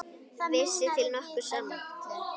Vísi til nokkurs ama.